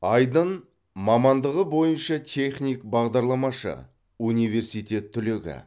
айдын мамандығы бойынша техник бағдарламашы университет түлегі